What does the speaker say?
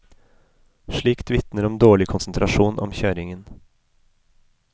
Slikt vitner om dårlig konsentrasjon om kjøringen.